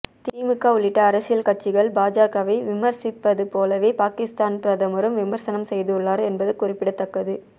திமுக உள்ளிட்ட அரசியல் கட்சிகள் பாஜகவை விமர்சிப்பது போலவே பாகிஸ்தான் பிரதமரும் விமர்சனம் செய்துள்ளார் என்பது குறிப்பிடத்தக்கது